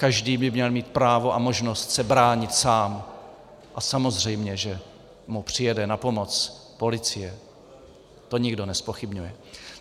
Každý by měl mít právo a možnost se bránit sám, a samozřejmě že mu přijede na pomoc policie, to nikdo nezpochybňuje.